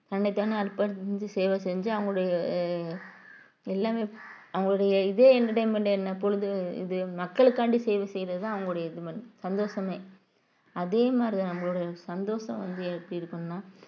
தன்னைத்தானே அர்பணிச்சு சேவை செஞ்சு அவங்களுடைய ஆஹ் எல்லாமே அவங்களுடைய இதே entertainment என்ன பொழுது இது மக்களுக்காண்டி சேவை செய்யறதுதான் அவங்களுடைய இது சந்தோஷமே அதே மாதிரிதான் நம்மளுடைய சந்தோஷம் வந்து எப்படி இருக்கணும்ன்னா~